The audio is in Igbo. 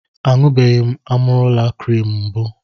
A ṅụbeghị m Amarula krim mbụ.